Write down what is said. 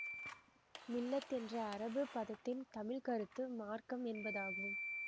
மில்ல என்ற அரபுப் பதத்தின் தமிழ்கருத்து மார்க்கம் என்பதாகும்